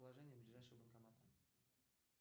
положение ближайшего банкомата